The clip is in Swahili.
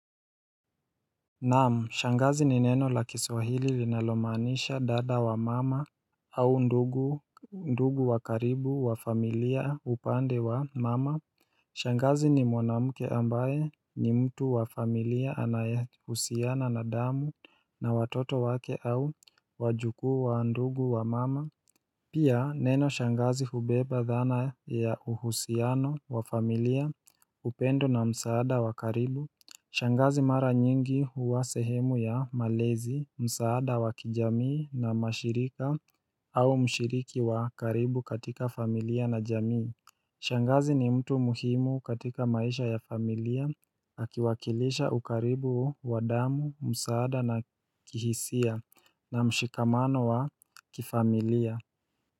Naam, shangazi ni neno la kiswahili linalomaanisha dada wa mama au ndugu ndugu wakaribu wa familia upande wa mama. Shangazi ni mwanamke ambaye ni mtu wa familia anayehusiana na damu na watoto wake au wajukuu wa ndugu wa mama. Pia, neno shangazi hubeba dhana ya uhusiano wa familia upendo na msaada wakaribu. Shangazi mara nyingi huwa sehemu ya malezi, msaada wa kijamii na mashirika au mshiriki wa karibu katika familia na jamii Shangazi ni mtu muhimu katika maisha ya familia, akiwakilisha ukaribu wa damu, msaada na kihisia na mshikamano wa kifamilia.